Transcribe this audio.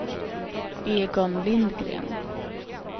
Egon Lindgren